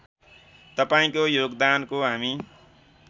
तपाईँको योगदानको हामी